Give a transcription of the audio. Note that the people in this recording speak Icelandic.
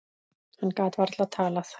Hann gat varla talað.